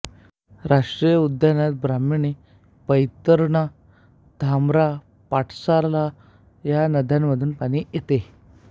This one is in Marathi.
या राष्ट्रीय उद्यानात ब्राह्मणी बैतरणी धामरा पाठसाला या नद्यांमधून पाणी येते